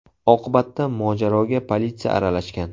Oqibatda mojaroga politsiya aralashgan.